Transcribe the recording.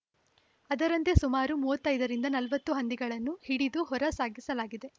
ಅದರಂತೆ ಸುಮಾರು ಮೂವತ್ತ್ ಐದರಿಂದ ನಲವತ್ತು ಹಂದಿಗಳನ್ನು ಹಿಡಿದು ಹೊರ ಸಾಗಿಸಲಾಗಿದೆ